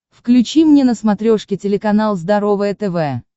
включи мне на смотрешке телеканал здоровое тв